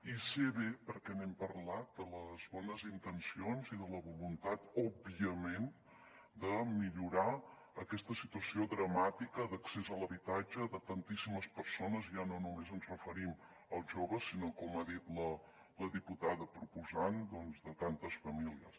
i sé bé perquè n’hem parlat de les bones intencions i de la voluntat òbviament de millorar aquesta situació dramàtica d’accés a l’habitatge de tantíssimes persones ja no només ens referim als joves sinó com ha dit la diputada proposant doncs de tantes famílies